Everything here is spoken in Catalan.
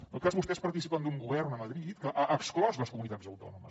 en tot cas vostès participen d’un govern a madrid que ha exclòs les comunitats autònomes